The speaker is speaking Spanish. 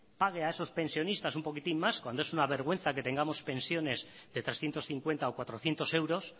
pague a esos pensionistas un poquitín más cuando es una vergüenza que tengamos pensiones de trescientos cincuenta o cuatrocientos euros